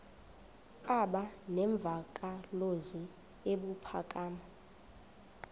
aba nemvakalozwi ebuphakama